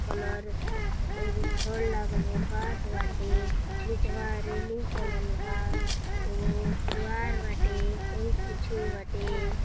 Colour एगो छड़ लागल ब बांस बाटे। निचवां रैलिंग चलल बा। एगो द्वार बाटे। ओही कुछु बाटे।